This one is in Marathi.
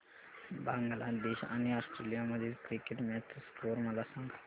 बांगलादेश आणि ऑस्ट्रेलिया मधील क्रिकेट मॅच चा स्कोअर मला सांगा